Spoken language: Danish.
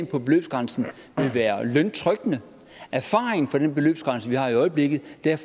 på beløbsgrænsen vil være løntrykkende erfaringen med den beløbsgrænse vi har i øjeblikket er